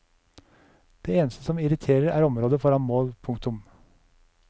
Det eneste som irriterer er området foran mål. punktum